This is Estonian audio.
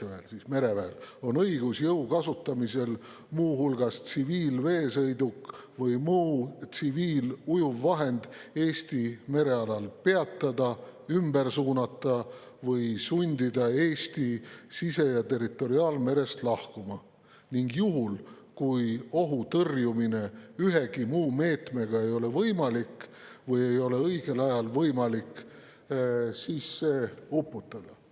– P. T.] on õigus jõu kasutamisel muu hulgas tsiviilveesõiduk või muu tsiviilujuvvahend Eesti merealal peatada, ümber suunata või sundida Eesti sise- ja territoriaalmerest lahkuma ning juhul, kui ohu tõrjumine ühegi muu meetmega ei ole võimalik või ei ole õigel ajal võimalik, see uputada.